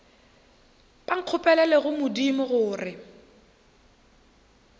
ba nkgopelele go modimo gore